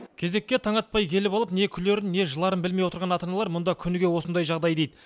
кезекке таң атпай келіп алып не күлерін не жыларын білмей отырған ата аналар мұнда күніге осындай жағдай дейді